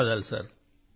ధన్యవాదాలు సార్